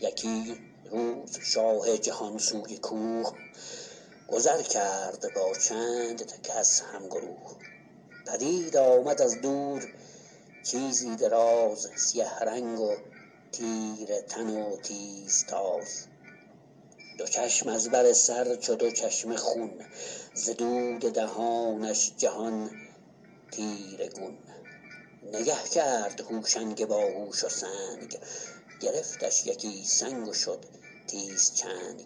یکی روز شاه جهان سوی کوه گذر کرد با چند کس هم گروه پدید آمد از دور چیزی دراز سیه رنگ و تیره تن و تیز تاز دو چشم از بر سر چو دو چشمه خون ز دود دهانش جهان تیره گون نگه کرد هوشنگ باهوش و سنگ گرفتش یکی سنگ و شد تیز چنگ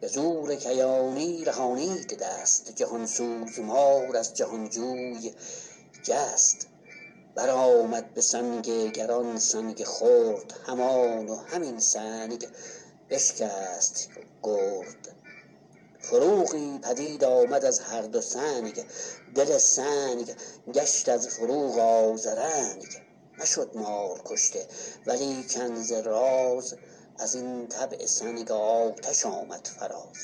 به زور کیانی رهانید دست جهان سوز مار از جهان جوی جست بر آمد به سنگ گران سنگ خرد همان و همین سنگ بشکست گرد فروغی پدید آمد از هر دو سنگ دل سنگ گشت از فروغ آذرنگ نشد مار کشته ولیکن ز راز از این طبع سنگ آتش آمد فراز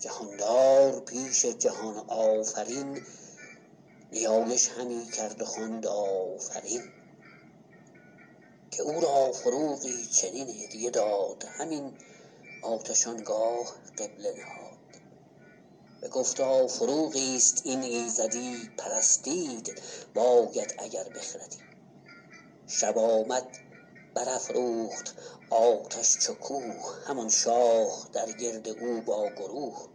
جهاندار پیش جهان آفرین نیایش همی کرد و خواند آفرین که او را فروغی چنین هدیه داد همین آتش آنگاه قبله نهاد بگفتا فروغی است این ایزدی پرستید باید اگر بخردی شب آمد بر افروخت آتش چو کوه همان شاه در گرد او با گروه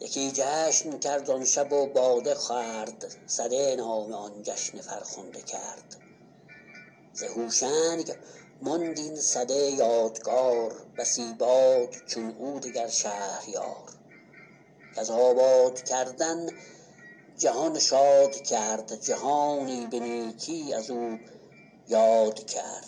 یکی جشن کرد آن شب و باده خورد سده نام آن جشن فرخنده کرد ز هوشنگ ماند این سده یادگار بسی باد چون او دگر شهریار کز آباد کردن جهان شاد کرد جهانی به نیکی از او یاد کرد